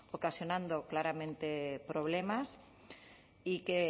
ocasionando claramente problemas y que